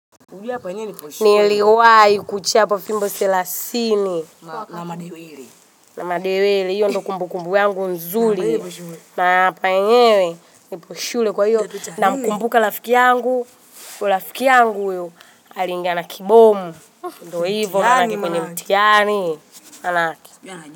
Niliwahi kuchapwa fimbo selasini. Na madewele. Na madewele, hiyo ndio kumbukumbu yangu nzuri. Naapa yenyewe, nipo shule kwa hiyo. Namkumbuka rafiki yangu, kwa rafiki yangu huyu, alingana kibomu. Ndivyo hivyo, naingia penye mtiani. Maanake.